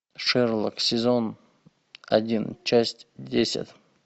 шерлок сезон один часть десять